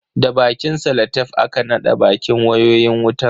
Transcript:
Da bakin salatef aka naɗa bakin wayoyin wutan.